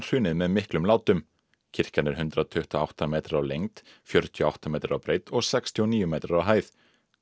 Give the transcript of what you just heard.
hrunið með miklum látum kirkjan er hundrað tuttugu og átta metrar á lengd fjörutíu og átta metrar á breidd og sextíu og níu metrar á hæð